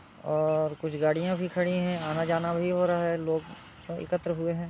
और कुछ गाडियां भी खड़ी हैं। आना जाना भी हो रहा है। लोग एकत्र हुए हैं।